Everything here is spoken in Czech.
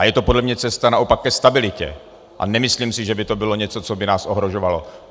A je to podle mne cesta naopak ke stabilitě a nemyslím si, že by to bylo něco, co by nás ohrožovalo.